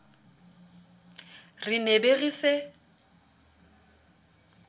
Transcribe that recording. re ne be re se